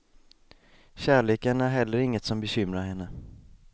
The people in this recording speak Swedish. Kärleken är heller inget som bekymrar henne.